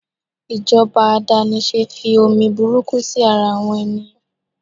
ijoba adanise fi omi burúkú sí ara àwọn ènìyàn